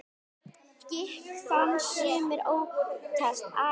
Gikk þann sumir óttast æ.